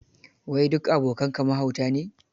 Wai duk abokanka mahauta ne?